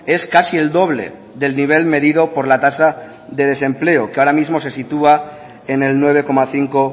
es casi el doble del nivel medido por la tasa de desempleo que ahora mismo se sitúa en el nueve coma cinco